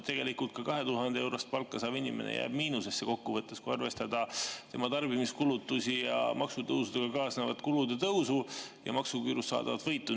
Ka 2000‑eurost palka saav inimene jääb kokkuvõttes miinusesse, kui arvestada tema tarbimiskulutusi ja maksutõusudega kaasnevat kulude tõusu ja maksuküürust saadavat võitu.